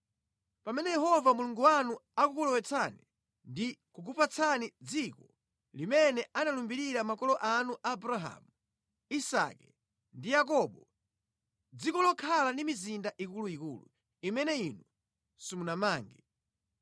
Pamene Yehova Mulungu wanu akukulowetsani ndi kukupatsani dziko limene analumbirira makolo anu Abrahamu, Isake ndi Yakobo, dziko lokhala ndi mizinda ikuluikulu imene inu simunamange,